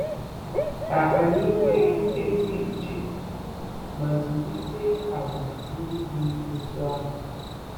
Ka anyị nwee ezi uche ma zụlite àgwà ndị dị otú ahụ.